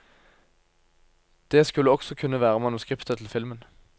Det skulle også kunne være manuskriptet til filmen.